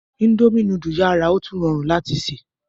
Indomie nudu yara otun rọrun lati ṣe